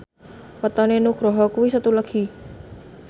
wetone Nugroho kuwi Setu Legi